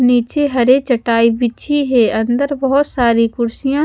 नीचे हरे चटाई बिछी है अंदर बहोत सारी कुर्सियां--